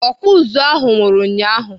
Ọkpụ ụzụ ahụ nwụrụ ụnyaahụ.